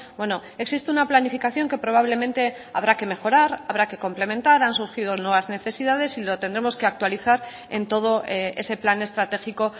bueno existe una planificación que probablemente habrá que mejorar habrá que complementar han surgido nuevas necesidades y lo tendremos que actualizar en todo ese plan estratégico